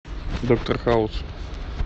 доктор хаус